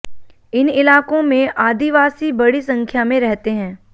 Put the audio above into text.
इन इलाकों में आदिवासी बड़ी संख्या में रहते हैं